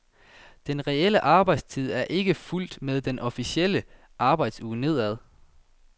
Den reelle arbejdstid er ikke fulgt med den officielle arbejdsuge nedad.